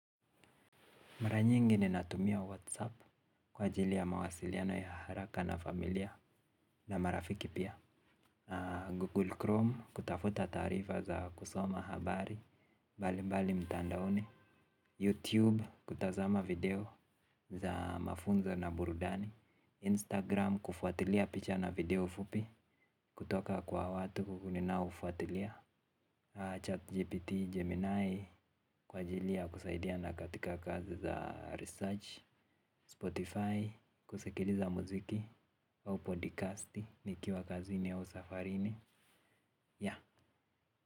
Mara nyingi ninatumia WhatsApp kwa ajili ya mawasiliano ya haraka na familia na marafiki pia Google Chrome kutafuta taarifa za kusoma habari mbalimbali mtandaoni YouTube kutazama video za mafunzo na burudani Instagram kufuatilia picha na video fupi kutoka kwa watu ninaofuatilia ChatGPT Gemini kwa ajili ya kusaidia na katika kazi za research Spotify kusikiliza muziki au podikasti nikiwa kazini au safarini yeah.